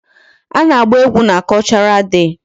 A na-agba egwu na Cultural day.